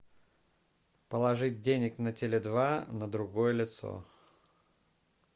положить денег на теле два на другое лицо